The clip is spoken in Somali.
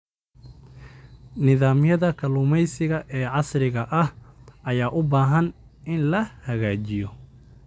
Nidaamyada kalluumeysiga ee casriga ah ayaa u baahan in la hagaajiyo.